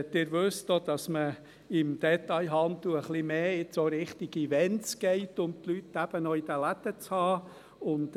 Sie wissen auch, dass man im Detailhandel ein bisschen mehr in Richtung Events geht, um die Leute eben noch in den Läden zu haben.